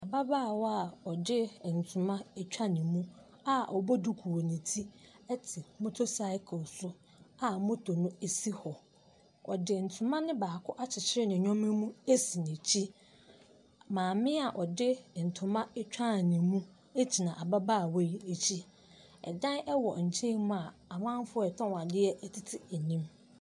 Ababaawa a ɔde ntoma atwa ne mu a ɔbɔ duku wɔ ne ti ɛte moto cycle so a moto no asi hɔ. Ɔde ntoma no baako akyikyire ne nneɛma mu asi n'akyi. Maame a ɔde ntoma atwa ne mu agyina ababaawa yi akyi. Ɛdan ɛwɔ nkyɛn mu a amanfo a ɔtɔn adeɛ ɛtete anim.